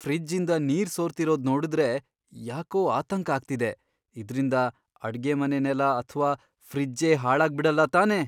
ಫ್ರಿಜ್ಜಿಂದ ನೀರ್ ಸೋರ್ತಿರೋದ್ ನೋಡ್ದ್ರೆ ಯಾಕೋ ಆತಂಕ ಆಗ್ತಿದೆ, ಇದ್ರಿಂದ ಅಡ್ಗೆಮನೆ ನೆಲ ಅಥ್ವಾ ಫ್ರಿಜ್ಜೇ ಹಾಳಾಗ್ಬಿಡಲ್ಲ ತಾನೇ?!